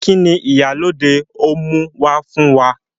Kini Ìyálóde ó mú wá fún wa?